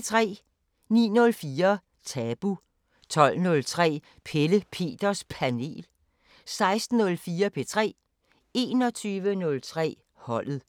09:04: Tabu 12:03: Pelle Peters Panel 16:04: P3 21:03: Holdet